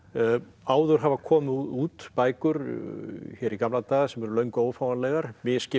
áður hafa komið út bækur í gamla daga sem eru löngu ófáanlegar misskipt